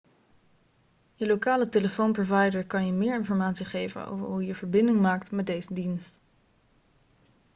je lokale telefoonprovider kan je meer informatie geven over hoe je verbinding maakt met deze dienst